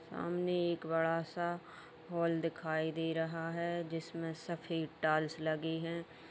सामने एक बड़ा सा हॉल दिखाई दे रहा है जिसमें सफेद टाइल्स लगी है।